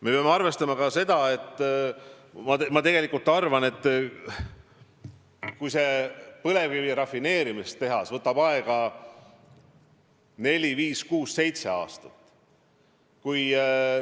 Me peame arvestama ka seda, et põlevkivi rafineerimise tehas võtab aega neli, viis, kuus või seitse aastat.